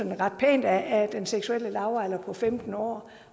ret pænt af den seksuelle lavalder på femten år